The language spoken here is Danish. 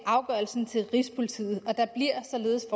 afgørelsen til rigspolitiet der bliver således